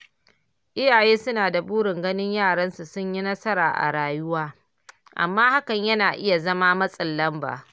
Iyaye suna da burin ganin yaransu sun yi nasara a rayuwa, amma hakan yana iya zama matsin lamba.